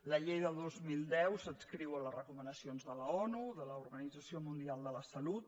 la llei del dos mil deu s’adscriu a les recomanacions de l’onu de l’organització mundial de la salut